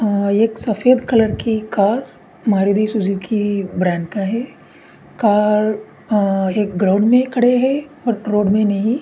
अ एक सफ़ेद कलर की कार मारुती सुजुकी ब्रैंड का है ये कार अ एक ग्राउंड में खड़े हैं और रोड में नहीं।